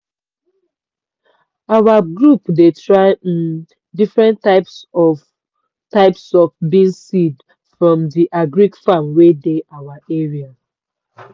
our group dey try um different types types of beans seed from the agric office wey dey our area.